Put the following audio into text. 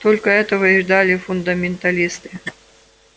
только этого и ждали фундаменталисты